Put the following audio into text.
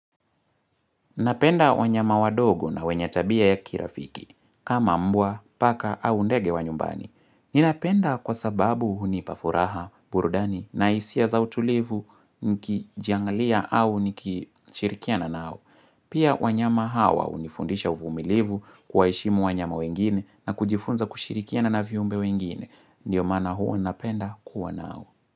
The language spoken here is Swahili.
Napenda wanyama wadogo na wenye tabia ya kirafiki. Kama mbwa, paka au ndege wa nyumbani. Ninapenda kwa sababu hunipa furaha burudani na isia za utulivu nikijangalia au nikishirikiana nao. Pia wanyama hawa unifundisha uvumilivu kwaheshimu wanyama wengine na kujifunza kushirikiana na viumbe wengine. Ndiyo maana huwa napenda kuwa nao.